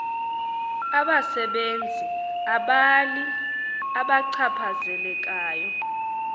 abasebenzi abali abachaphazelekayo